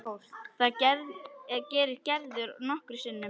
Það gerir Gerður nokkrum sinnum.